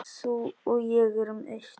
Þú og ég erum eitt.